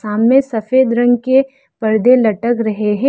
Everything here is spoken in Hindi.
सामने सफेद रंग के पर्दे लटक रहे हैं।